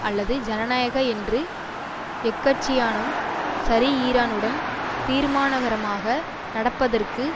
அல்லது ஜனநாயக என்று எக்கட்சியானும் சரி ஈரானுடன் தீர்மானகரமாக நடப்பதற்கு